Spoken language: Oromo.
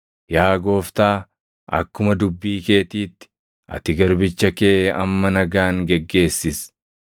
“Yaa Gooftaa, akkuma dubbii keetiitti, ati garbicha kee amma nagaan geggeessis.